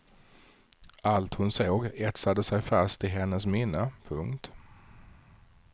Allt hon såg etsade sig fast i hennes minne. punkt